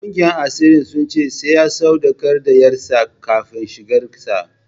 Ƙungiyar asirin sun ce sai ya sadaukar da ƴarsa kafin shigar sa.